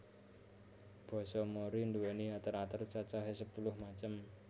Basa Mori nduwéni ater ater cacahè sepuluh macem